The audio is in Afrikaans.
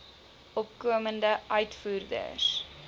opkomende uitvoerders